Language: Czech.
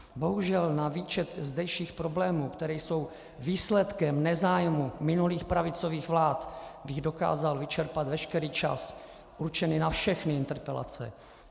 Bohužel na výčet zdejších problémů, které jsou výsledkem nezájmu minulých pravicových vlád, bych dokázal vyčerpat veškerý čas určený na všechny interpelace.